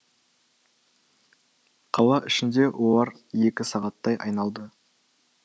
қала ішінде олар екі сағаттай айналды